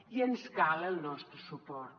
i els cal el nostre suport